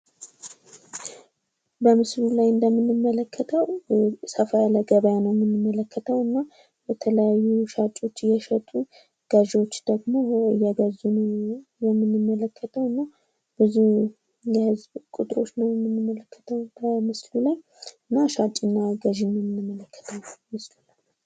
በምስሉ ላይ እንደምንመለከተው ሰፋ ያለ ገበያ ነው የምንመለከተው ።እና የተለያዩ ሻጮች እየሸጡ ፣ገዢወች ደግሞ እየገዙ ነው የምንመለከተው እና ብዙ የህዝብ ቁጥሮች ነው የምንመለከተው ምስሉ ላይ እና ሻጭና ገዢ ነው የምንመለከተው።